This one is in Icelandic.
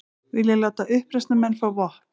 Vilja láta uppreisnarmenn fá vopn